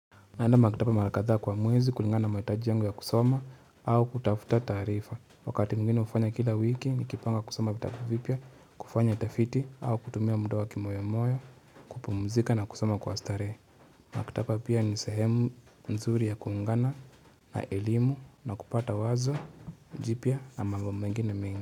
Naenda maktaba mara kadhaa kwa mwezi kulingana na mahitaji yangu ya kusoma au kutafuta taarifa. Wakati mwingine ufanya kila wiki nikipanga kusoma vitabu vipya kufanya tafiti au kutumia muda wa kimoyomoyo, kupumzika na kusoma kwa starehe Maktaba pia ni sehemu nzuri ya kuungana na elimu na kupata wazo, jipya na mambo mengine mengi.